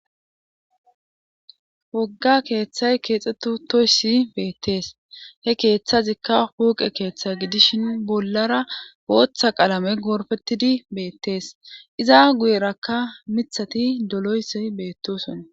wogga keeththay keexxeti utoyssi beettees he keeththazikka hooqe keeththa gidishin bollara booththa qaalame gorfetidi beettees iza guyerakka mithati doloyssay beettosona